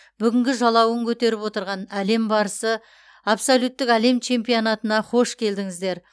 бүгінгі жалауын көтеріп отырған әлем барысы абсолюттік әлем чемпионатына қош келдіңіздер